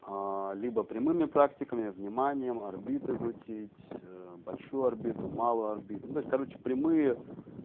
либо прямыми практиками вниманием орбиты крутить большую орбиту малую орбиту ну то есть короче прямые